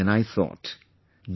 Then I thought... No